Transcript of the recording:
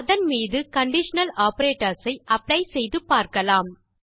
அதன் மீது conditional operators ஐ அப்ளை செய்து பார்க்கலாம்